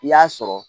I y'a sɔrɔ